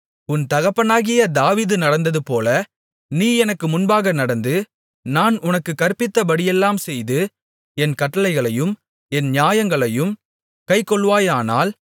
உன் தகப்பனாகிய தாவீது நடந்ததுபோல நீ எனக்கு முன்பாக நடந்து நான் உனக்குக் கற்பித்தபடியெல்லாம் செய்து என் கட்டளைகளையும் என் நியாயங்களையும் கைக்கொள்வாயானால்